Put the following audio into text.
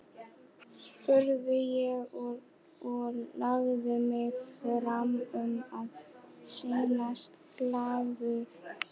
spurði ég og lagði mig fram um að sýnast glaður.